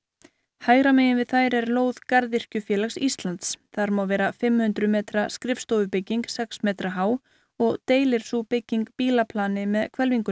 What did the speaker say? hægra megin við þær er lóð garðyrkjufélags Íslands þar má vera fimm hundruð metra skrifstofubygging sex metra há og deilir sú bygging bílaplani með